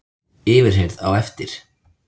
Yfirheyrð á eftir